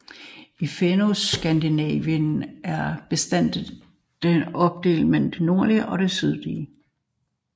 I Fennoskandinavien er bestandene opdelt mellem en nordlig og sydlig